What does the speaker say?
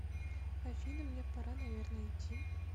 афина мне пора наверное идти